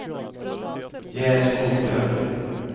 Gerd Skoglund